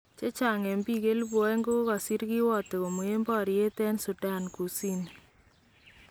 Chechang eng biik 2000 ,kokasiir kiwato komween baryeet en Sudan Kusini.